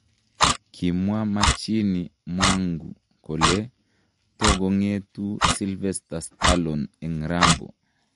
Kimwa Machini Mwangu kole togongetuu Sylvester Stallone en Rambo.